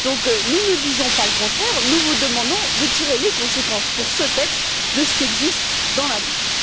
Donc, nous ne disons pas le contraire, nous vous demandons de tirer les conséquences pour ce texte de ce qui existe dans la MiFID.